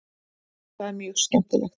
Það er mjög skemmtilegt.